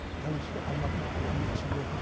тәуелсізде алматының орны ерекше болатын